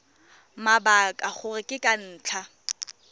mabaka gore ke ka ntlha